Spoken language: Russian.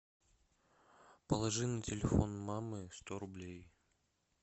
положи на телефон мамы сто рублей